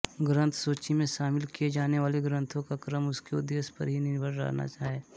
ग्रंथसूची में शामिल किए जानेवाले ग्रंथों का क्रम उसके उद्देश्य पर ही निर्भर रहना है